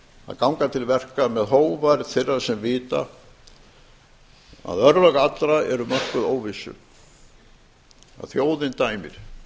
að ganga til verka með hógværð þeirra sem vita að örlög allra eru mörkuð óvissu að þjóðin dæmir